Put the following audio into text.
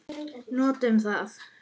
Notum það.